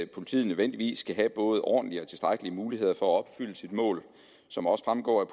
politiet nødvendigvis skal have både ordentlige og tilstrækkelige muligheder for at opfylde sit mål som også fremgår af